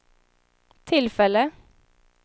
tillfälle